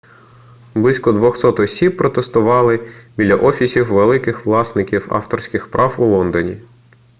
близько 200 осіб протестували біля офісів великих власників авторських прав у лондоні